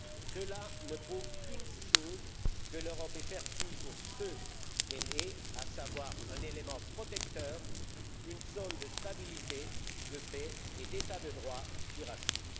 Cela ne prouve qu'une seule chose que l'Europe est perçue pour ce qu'elle est, à savoir un élément protecteur, une zone de stabilité, de paix et d'état de droit qui rassure.